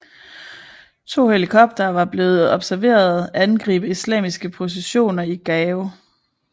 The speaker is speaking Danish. To helikoptere var blevet observeret angribe islamistiske positioner i Gao